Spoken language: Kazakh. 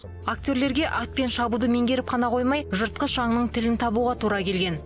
актерлерге атпен шабуды меңгеріп қана қоймай жыртқыш аңның тілін табуға тура келген